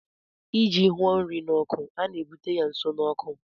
ịji hụo nri n' oku a na-ebute ya nso na ọkụ